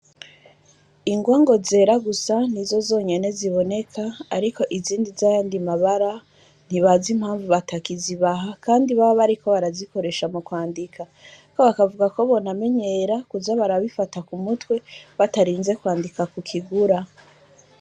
Ingwa ngo zera gusa nizo zonyene ziboneka, ariko izindi z'ayandi mabara, ntibazi impamvu batakizibaha kandi baba bariko barazikoresha mu kwandika; bakavuga ko bonamenyera kuza barabifata ku mutwe, batarinze kwandika ku kigura.